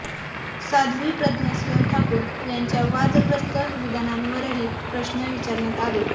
साध्वी प्रज्ञासिंह ठाकूर यांच्या वादग्रस्त विधानांवरही प्रश्न विचारण्यात आले